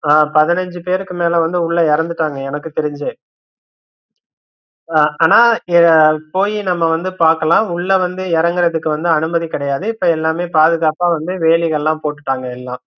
அஹ் பதினஞ்சு பேருக்குமேல வந்து உள்ள இறந்துட்டாங்க எனக்கு தெரிஞ்சே ஆஹ் ஆனா போய் நம்ம வந்து பாக்கலாம் உள்ள வந்து இறங்குறதுக்கு வந்து அனுமதி கிடையாது இப்ப எல்லாமே பாதுகாப்பா வந்து வேலி கள்ளாம் போட்டுட்டாங்க எல்லாம்